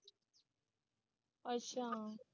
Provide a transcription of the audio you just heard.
ਅੱਛਾ